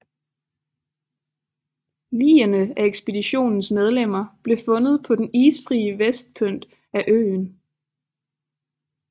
Ligene af ekspeditionens medlemmer blev fundet på den isfrie vestpynt af øen